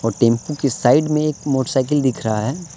Tempo के side में एक मोटर साइकिल दिख रहा है।